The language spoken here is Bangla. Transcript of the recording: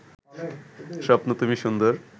স্বপ্ন তুমি সুন্দর